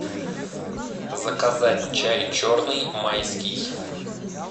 заказать чай черный майский